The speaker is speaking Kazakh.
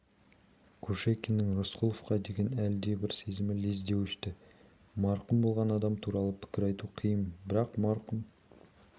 кушекиннің рысқұловқа деген әлгібір сезімі лезде өшті марқұм болған адам туралы пікір айту қиын бірақ марқұм